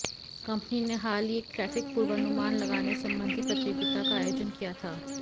company ने हाल ही एक ट्रैफिक पूर्वानुमान लगाने संबंधी प्रतियोगिता का आयोजन किया था